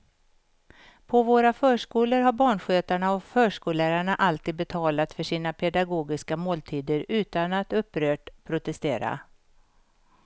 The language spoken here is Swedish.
På våra förskolor har barnskötarna och förskollärarna alltid betalat för sina pedagogiska måltider utan att upprört protestera.